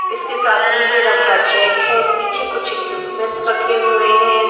इसके साथ नीले रंग का जैक है पीछे कुछ इक्विपमेंट्स रखे हुए हैं।